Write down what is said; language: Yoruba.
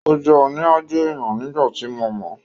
Ó jẹ́ òní-aájò èèyàn nígbà tí mo mọ̀ọ́